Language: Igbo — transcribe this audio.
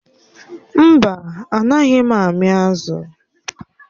Mba, Anaghị m ami azụ̀